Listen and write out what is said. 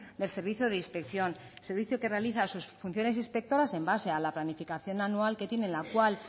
del servicio de inspección servicio que realiza sus funciones inspectoras en base a la planificación anual que tiene en la cual